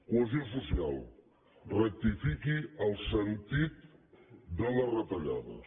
cohesió social rectifiqui el sentit de les retallades